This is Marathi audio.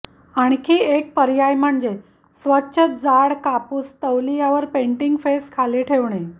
आणखी एक पर्याय म्हणजे स्वच्छ जाड कापूस तौलियावर पेंटिंग फेस खाली ठेवणे